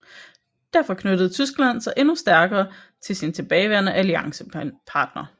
Derfor knyttede Tyskland sig endnu stærkere til sin tilbageværende alliancepartner